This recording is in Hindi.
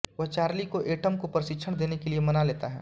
वह चार्ली को एटम को प्रशिक्षण देने के लिए मना लेता है